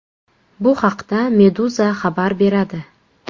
Bu haqda Meduza xabar beradi.